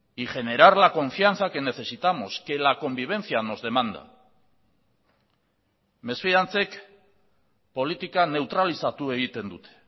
y generar la confianza que necesitamos que la convivencia nos demanda mesfidantzek politika neutralizatu egiten dute